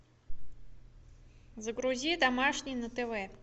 загрузи домашний на тв